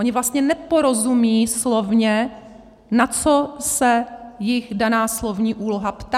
Ony vlastně neporozumí slovně, na co se jich daná slovní úloha ptá.